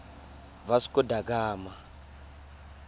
vasco da gama